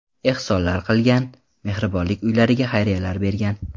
Ehsonlar qilgan, mehribonlik uylariga xayriyalar bergan.